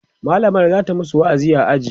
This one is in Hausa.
mallamar zata masu wa'azi a aji